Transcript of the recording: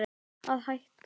Að hætta?